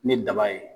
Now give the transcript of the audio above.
Ni daba ye